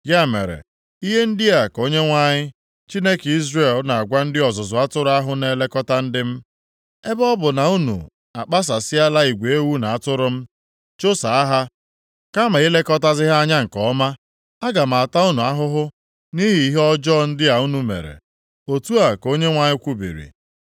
Ya mere, ihe ndị a ka Onyenwe anyị, Chineke Izrel na-agwa ndị ọzụzụ atụrụ ahụ na-elekọta ndị m, “Ebe ọ bụ na unu akpasasịala igwe ewu na atụrụ m, chụsaa ha, kama ilekọtazi ha anya nke ọma, aga m ata unu ahụhụ nʼihi ihe ọjọọ ndị a unu mere.” Otu a ka Onyenwe anyị kwubiri.